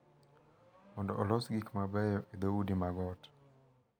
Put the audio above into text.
Mondo olos gik mabeyo e dhoudi mag ot,